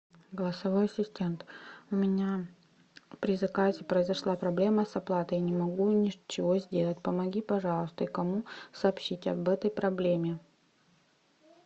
голосовой ассистент у меня при заказе произошла проблема с оплатой не могу ничего сделать помоги пожалуйста и кому сообщить об этой проблеме